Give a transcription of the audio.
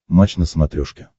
матч на смотрешке